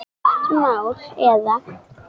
Gott mál eða?